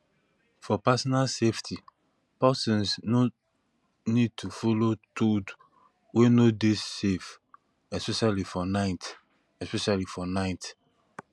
for personal safety persons no need to follow toad wey no dey safe especially for night especially for night